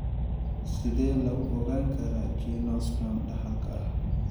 Sidee lagu ogaan karaa geniospasm dhaxalka ah?